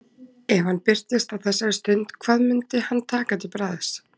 Ef hann birtist á þessari stund, hvað mundi hann taka til bragðs?